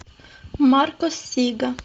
маркос сига